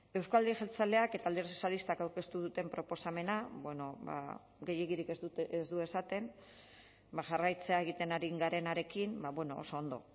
euzko alderdi jeltzaleak eta alderdi sozialistak aurkeztu duten proposamenak bueno ba gehiegirik ez du esaten jarraitzea egiten ari garenarekin oso ondo